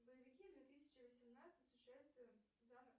боевики две тысячи восемнадцать с участием